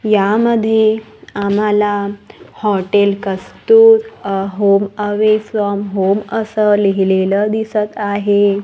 यामध्ये आम्हाला hotel Kastur a home away from home असं लिहिलेलं दिसत आहे.